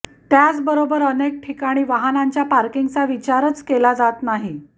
त्याचबरोबर अनेक ठिकाणी वाहनांच्या पार्किंगचा विचारच केला जात नाही